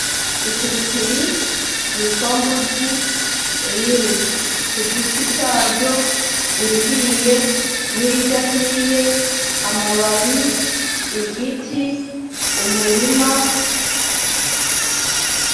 Ipiripipri ryitwa mbuzi riri kugiti caryo ,irihiye n'iridahiye amababi, igiti, umurima.